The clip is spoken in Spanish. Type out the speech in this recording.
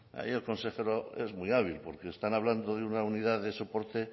ahí el consejero es muy hábil porque están hablando de una unidad de soporte